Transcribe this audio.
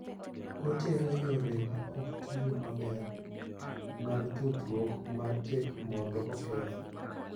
Otero yore ma ok tiyo maber mag tudruok ma tek mondo oketh.